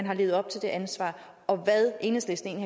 har levet op til det ansvar og hvad enhedslisten